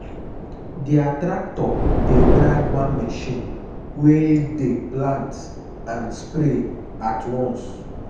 their tractor dey drag one machine wey dey plant and spray at once.